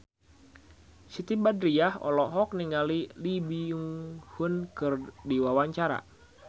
Siti Badriah olohok ningali Lee Byung Hun keur diwawancara